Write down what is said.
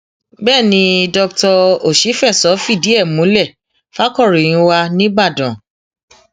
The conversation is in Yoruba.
bẹẹ ni doctor òṣìfẹsọ fìdí ẹ múlẹ fàkọròyìn wa nìbàdàn